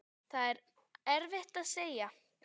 Það er erfitt að segja.